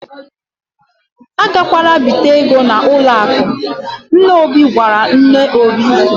"A gakwala ibite ego n'ụlọ akụ, " nna Obi gwara nne Obi.